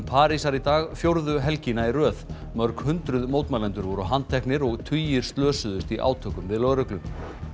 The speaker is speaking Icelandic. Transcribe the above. Parísar í dag fjórðu helgina í röð mörg hundruð mótmælendur voru handteknir og tugir slösuðust í átökum við lögreglu